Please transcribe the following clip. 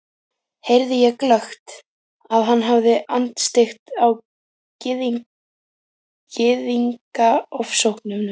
heyrði ég glöggt, að hann hafði andstyggð á Gyðingaofsóknunum.